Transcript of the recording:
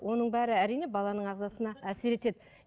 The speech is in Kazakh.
оның бәрі әрине баланың ағзасына әсер етеді